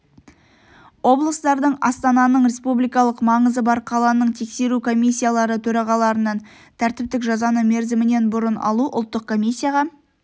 облыстардың астананың республикалық маңызы бар қаланың тексеру комиссиялары төрағаларынан тәртіптік жазаны мерзімінен бұрын алу ұлттық комиссияға